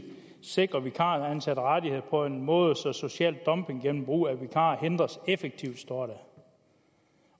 sikrer vi vikaransatte rettigheder på en måde så social dumping gennem brug af vikarer hindres effektivt står der